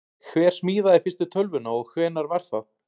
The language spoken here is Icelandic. Hver smíðaði fyrstu tölvuna og hvenær var það?